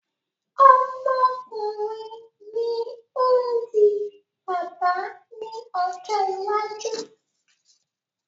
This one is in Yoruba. Ọmọkùnrin ni ó ń di bàbá ní ọjọ́ iwájú